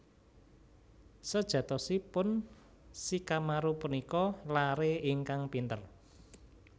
Sejatosipun Shikamaru punika laré ingkang pinter